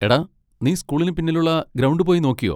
എടാ, നീ സ്കൂളിന് പിന്നിലുള്ള ഗ്രൗണ്ട് പോയി നോക്കിയോ?